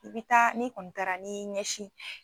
I bi taa ni kɔni taa ni ɲɛsin.